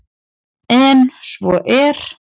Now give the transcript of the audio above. En svo er